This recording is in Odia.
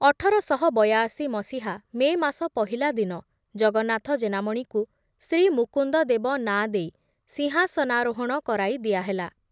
ଅଠର ଶହ ବୟାଅଶି ମସିହା ମେ ମାସ ପହିଲା ଦିନ ଜଗନ୍ନାଥ ଜେନାମଣିକୁ ଶ୍ରୀ ମୁକୁନ୍ଦ ଦେବ ନାଁ ଦେଇ ସିଂହାସନାରୋହଣ କରାଇ ଦିଆହେଲା ।